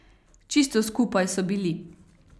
Čisto skupaj so bili.